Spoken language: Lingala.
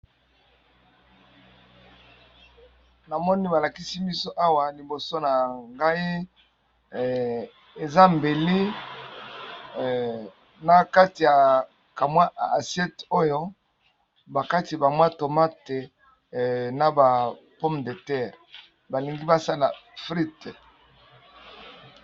Namoni balakisi biso awa liboso na ngai mbeli nakati ya assiette azokata tomate na pomme de terre balingi balamba fritte.